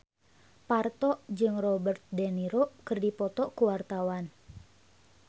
Parto jeung Robert de Niro keur dipoto ku wartawan